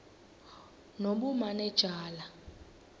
nobumanejala